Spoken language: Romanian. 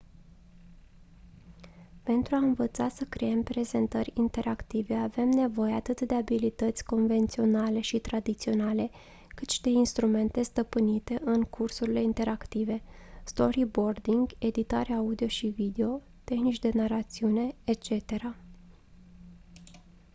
pentru a învăța să creăm prezentări interactive avem nevoie atât de abilități convenționale și tradiționale cât și de instrumente stăpânite în cursurile interactive storyboarding editare audio și video tehnici de narațiune etc.